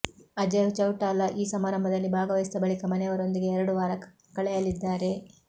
ಅಜಯ್ ಚೌಟಾಲಾ ಈ ಸಮಾರಂಭದಲ್ಲಿ ಭಾಗವಹಿಸಿದ ಬಳಿಕ ಮನೆಯವರೊಂದಿಗೆ ಎರಡು ವಾರ ಕಳೆಯಲಿದ್ದಾರೆ